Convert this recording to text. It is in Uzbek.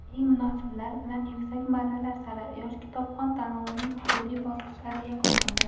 Eng munosiblar bilan yuksak marralar sari: "Yosh kitobxon" tanlovining hududiy bosqichlari yakunlandi!.